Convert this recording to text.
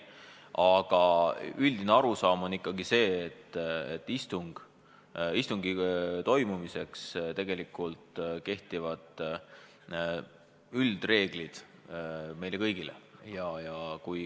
Aga üldine arusaam on ikkagi see, et istungi toimumise üldreeglid kehtivad meile kõigile.